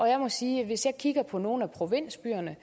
jeg må sige at hvis jeg kigger på nogle af provinsbyerne